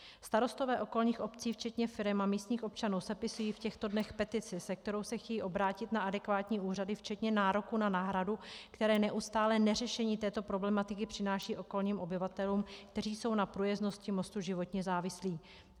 Starostové okolních obcí včetně firem a místních občanů sepisují v těchto dnech petici, se kterou se chtějí obrátit na adekvátní úřady včetně nároku na náhradu, které neustálé neřešení této problematiky přináší okolním obyvatelům, kteří jsou na průjezdnosti mostu životně závislí.